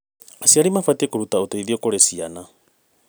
Aciari mabatiĩ kũruta ũteithio kũrĩ ciana.